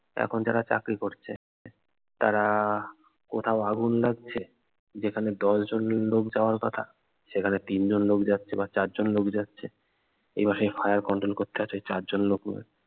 এখন যারা চাকরি করছে তারা কোথাও আগুন লাগছে যেখানে দশ জন লোক যাওয়ার কথা সেখানে তিন জন লোক বা চার জন লোক যাচ্ছে এবার সেই fire control করতে হচ্ছে চার জন লোক নিয়ে